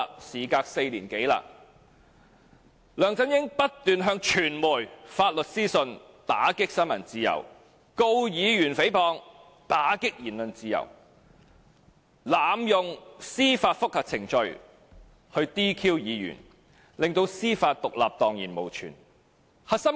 "事隔4年多，梁振英不斷向傳媒發出律師信，打擊新聞自由；控告議員誹謗，打擊言論自由；濫用司法覆核程序 "DQ" 議員，令司法獨立蕩然無存。